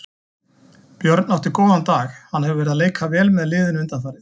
Björn átti góðan dag, hann hefur verið að leika vel með liðinu undanfarið.